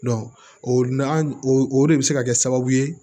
o na an o de bi se ka kɛ sababu ye